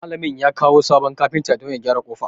Malamin ya kawo sabon kafinta don ya gyara ƙofar.